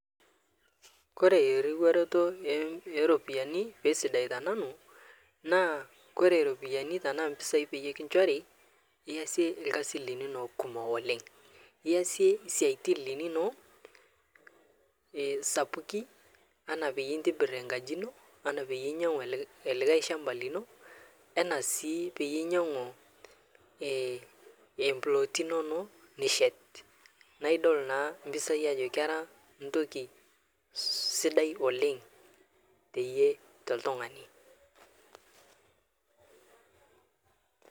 Kore riwaroto empisai pesidai tenanu naa Kore kore ropiyani tanaa mpisai peyie nkishori iyasie lkasi linono kumok iyasie siatin linono sapuki ana payie intibir nkaji ino ana payie inyang'u likae lshamba lino ena sii payie inyang'u mplooti inono nishet naa idol naa mpisai ajo kera ntoki sidai oleng payie teye toltungani.